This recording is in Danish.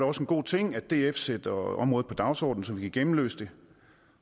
også en god ting at df sætter området på dagsordenen så vi kan gennemlyse det